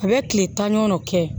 A bɛ tile tan ɲɔgɔn dɔ kɛ